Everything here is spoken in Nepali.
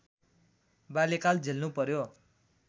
बाल्यकाल झेल्नु पर्‍यो